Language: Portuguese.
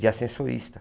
De ascensorista.